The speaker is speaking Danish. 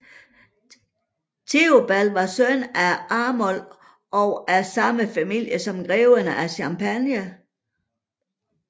Theobald var søn af grev Arnoul 0g af samme familie son greverne af Champagne